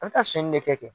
An bɛ taa sɔnni de kɛ